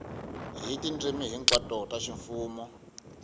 hi tindzimi hinkwato ta ximfumo